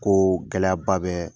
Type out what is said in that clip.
Ko gɛlɛyaba bɛ